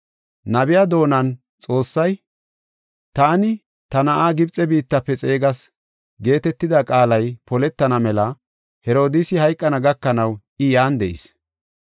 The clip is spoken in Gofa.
Nabiya doonan Xoossay, “Taani, ta na7aa, Gibxe biittafe xeegas” geetetida qaalay poletana mela Herodiisi hayqana gakanaw I yan de7is.